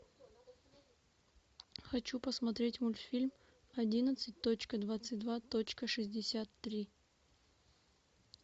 хочу посмотреть мультфильм одиннадцать точка двадцать два точка шестьдесят три